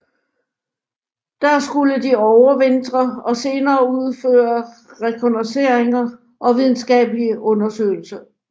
Der skulle de overvintre og senere udføre rekognosceringer og videnskabelige undersøgelser